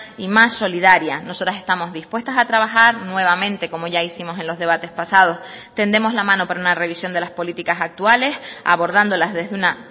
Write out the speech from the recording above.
y más solidaria nosotras estamos dispuestas a trabajar nuevamente como ya hicimos en los debates pasados tendemos la mano para una revisión de las políticas actuales abordándolas desde una